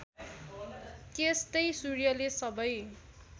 त्यस्तै सूर्यले सबै